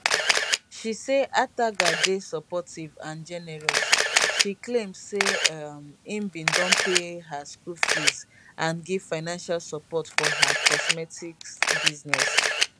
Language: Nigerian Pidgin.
she say ataga dey supportive and generous she claim say um im bin don pay her school fees and give financial support for her cosmetics business